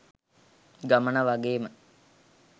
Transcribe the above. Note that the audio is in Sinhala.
ගමන වගේම